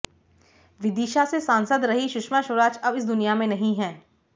विदिशा से सांसद रहीं सुषमा स्वराज अब इस दुनिया में नहीं है